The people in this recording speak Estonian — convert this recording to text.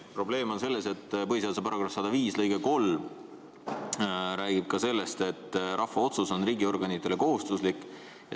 Probleem on selles, et põhiseaduse § 105 lõige 3 räägib sellest, et rahva otsus on riigiorganitele kohustuslik.